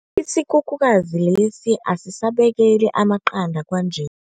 Isikhukhukazi lesi asisabekeli amaqanda kwanje.